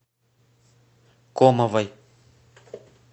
комовой